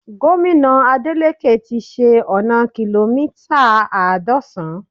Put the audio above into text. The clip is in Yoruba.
Gómìnà Adeleke ti ṣe ọna kìlómítà àádọ́san